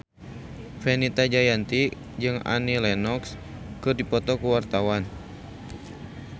Fenita Jayanti jeung Annie Lenox keur dipoto ku wartawan